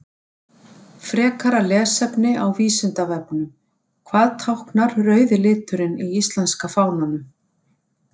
Frekara lesefni á Vísindavefnum: Hvað táknar rauði liturinn í íslenska fánanum?